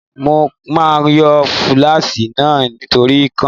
Mo máa yọ lúfásì náà nítorí ikán.